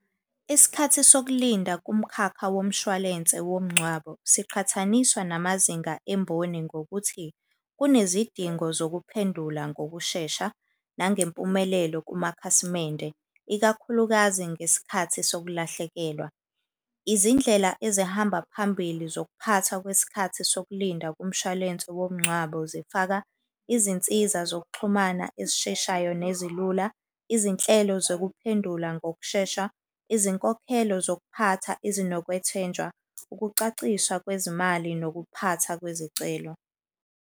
Isikhathi sokulinda kumkhakha womshwalense womngcwabo siqhathaniswa namazinga emboni ngokuthi kunezidingo zokuphendula ngokushesha nangempumelelo kumakhasimende, ikakhulukazi ngesikhathi sokulahlekelwa. Izindlela ezihamba phambili zokuphatha kwesikhathi sokulinda kumshwalense womngcwabo zifaka, izinsiza zokuxhumana ezisheshayo nezilula, izinhlelo zokuphendula ngokushesha, izinkokhelo zokuphatha ezinokwethenjwa, ukucacisa kwezimali nokuphatha kwezicelo.